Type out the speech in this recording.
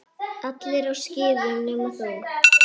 Allir á skíðum nema þú.